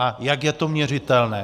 A jak je to měřitelné?